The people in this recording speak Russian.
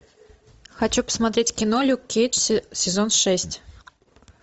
хочу посмотреть кино люк кейдж сезон шесть